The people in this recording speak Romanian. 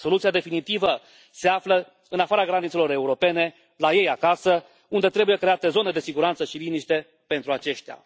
Soluția definitivă se află în afara granițelor europene, la ei acasă, unde trebuie create zone de siguranță și liniște pentru aceștia.